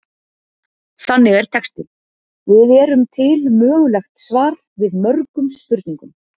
Þannig er textinn Við erum til mögulegt svar við mörgum spurningum.